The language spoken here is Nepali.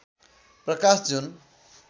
प्रकाश जुन